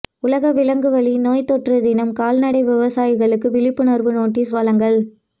உலக விலங்கு வழி நோய்த் தொற்று தினம் கால்நடை விவசாயிகளுக்கு விழிப்புணர்வு நோட்டீஸ் வழங்கல்